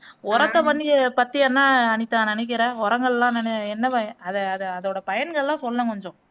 உரத்த பண்ணி பத்தி என்ன அனிதா நினைக்கிற உரங்கள் எல்லாம் நின என்ன பயன் அது அது அதோட பயன்கள் எல்லாம் சொல்லேன் கொஞ்சம்